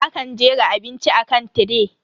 Akan jera abinci akan tiray.